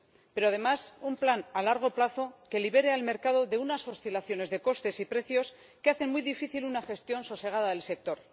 Pero, además, un plan a largo plazo que libere al mercado de unas oscilaciones de costes y precios que hacen muy difícil una gestión sosegada del sector.